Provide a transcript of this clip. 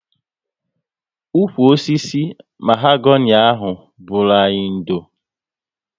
Ụkwụ osisi mahogani ahụ bụru anyị ndo